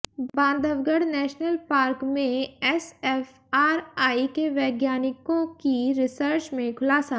Bandhavgarh national park में SFRI के वैज्ञानिकों की रिसर्च में खुलासा